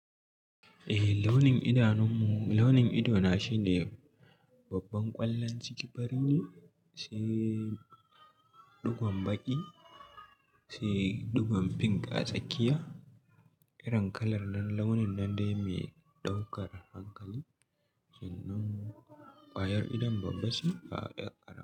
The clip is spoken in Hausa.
Eh launin idanunmu, launin idona shine babban ƙwallon ciki farine, sai ɗugon baƙi, sai ɗugon pink a tsakiya. Irin kalar nan launin nan dai mai ɗaukar hankali. Sannan ƙwayar idon babba che ba ƴar ƙaramaba.